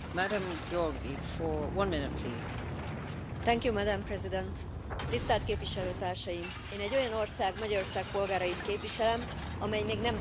Elnök Aszony, tisztelt Képviselőtársaim! Én egy olyan ország, Magyarország polgárait képviselem, amely még nem tartozik az euróövezethez.